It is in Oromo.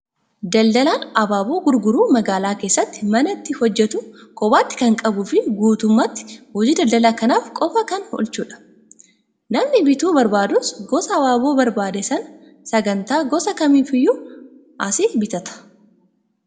Daldalaan abaaboo gurguru magaalaa keessatti mana itti hojjatu kophaatti kan qabuu fi guutummaatti hojii daldala kanaaf qofaa kan oolchudha. Namni bituu barbaadus gosa abaaboo barbaade Sanaa sagantaa gosa kamiifiyyuu asii bitata.